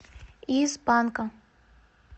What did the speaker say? из панка